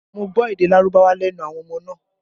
Mo gbọ́ èdè Lárúbáwá lẹ́nu àwọn ọmọ náà